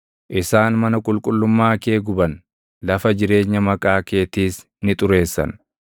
Isaan mana qulqullummaa kee guban; lafa jireenya Maqaa keetiis ni xureessan.